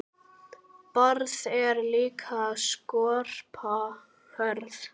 Barð er líka skorpa hörð.